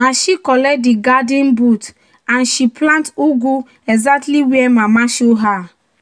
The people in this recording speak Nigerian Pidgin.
"na she collect di garden boot and she plant ugu exactly where mama show her."